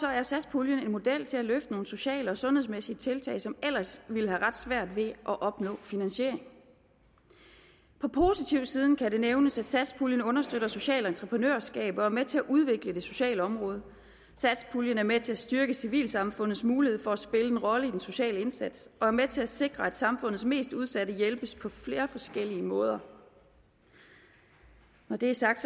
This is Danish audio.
er satspuljen en model til at løfte nogle sociale og sundhedsmæssige tiltag som ellers ville have ret svært ved at opnå finansiering på positivsiden kan det nævnes at satspuljen understøtter socialt entreprenørskab og er med til at udvikle det sociale område satspuljen er med til at styrke civilsamfundets mulighed for at spille en rolle i den sociale indsats og er med til at sikre at samfundets mest udsatte hjælpes på flere forskellige måder når det er sagt